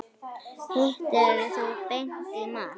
Hittir þú Beint í mark?